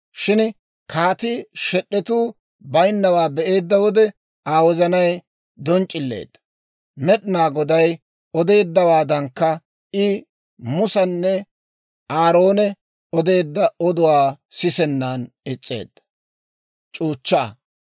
Shin kaatii shed'etuu baynnawaa be'eedda wode Aa wozanay donc'c'ileedda; Med'inaa Goday odeeddawaadankka, I Musenne Aaroone odeedda oduwaa sisennan is's'eedda.